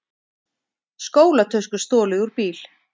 Skólatösku stolið úr bíl